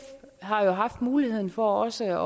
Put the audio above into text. har jo haft muligheden for også